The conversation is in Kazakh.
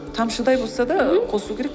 тамшыдай болса да мхм қосу керек